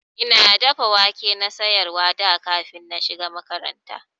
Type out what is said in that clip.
Ina dafa wake na siyarwa da kafin na shiga makaranta.